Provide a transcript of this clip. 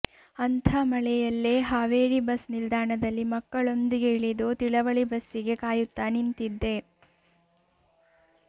ಅಂಥ ಮಳೆಯಲ್ಲೇ ಹಾವೇರಿ ಬಸ್ಸ್ ನಿಲ್ದಾಣದಲ್ಲಿ ಮಕ್ಕಳೊಂದಿಗೆ ಇಳಿದು ತಿಳವಳ್ಳಿ ಬಸ್ಸಿಗೆ ಕಾಯುತ್ತಾ ನಿಂತಿದ್ದೆ